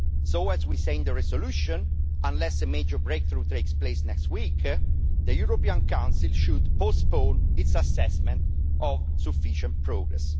So, as we say in the resolution, unless a major breakthrough takes place next week, the European Council should postpone its assessment of sufficient progress.